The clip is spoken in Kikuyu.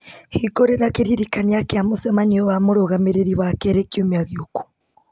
hĩngũrĩra kĩririkania kĩa mũcemanio wa mũrũgamĩrĩri wakerĩ kiumia gĩũku